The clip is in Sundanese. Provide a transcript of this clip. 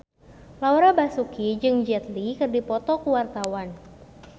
Laura Basuki jeung Jet Li keur dipoto ku wartawan